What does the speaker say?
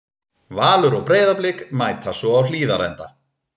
Valur og Breiðablik mætast svo á Hlíðarenda.